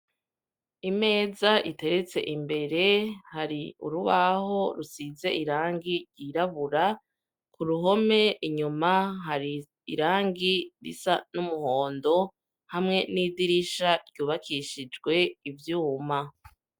Imeza iteretse imbere hari urubaho rusize irangi ryirabura ku ruhome inyuma hari irangi risa n'umuhondo hamwe n'idirisha ryubakishijwe ivyuma.